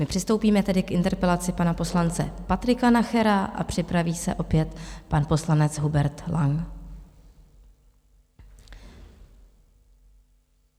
My přistoupíme tedy k interpelaci pana poslance Patrika Nachera a připraví se opět pan poslanec Hubert Lang.